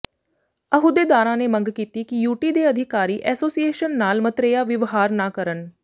ਅਹੁਦੇਦਾਰਾਂ ਨੇ ਮੰਗ ਕੀਤੀ ਕਿ ਯੂਟੀ ਦੇ ਅਧਿਕਾਰੀ ਐਸੋਸੀਏਸ਼ਨ ਨਾਲ ਮਤਰੇਆ ਵਿਵਹਾਰ ਨਾ ਕਰਨ